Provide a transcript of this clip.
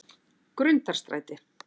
Grundarstræti